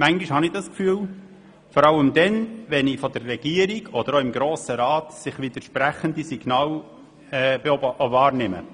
Manchmal habe ich dieses Gefühl, vor allem dann, wenn ich von der Regierung oder vom Grossen Rat widersprüchliche Signale wahrnehme, oder